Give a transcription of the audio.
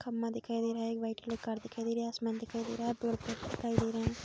खम्मा दिखाई दे रहा है। एक वाइट कलर कार दिखाई दे रही है। आसमान दिखाई दे रहा है। पेड़-पौधे दिखाई दे रहे हैं।